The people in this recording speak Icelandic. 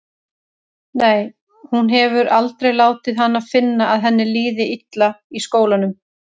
Nei, hún hefur aldrei látið hana finna að henni líði illa í skólanum.